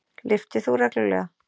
Lyftir þú reglulega?